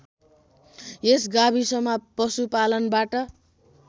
यस गाविसमा पशुपालनबाट